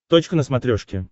точка на смотрешке